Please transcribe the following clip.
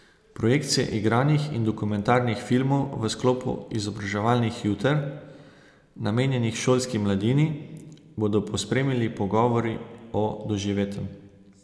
Projekcije igranih in dokumentarnih filmov v sklopu izobraževalnih juter, namenjenih šolski mladini, bodo pospremili pogovori o doživetem.